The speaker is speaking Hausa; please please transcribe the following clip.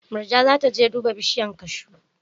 Murja za ta je duba bishiyar kashu.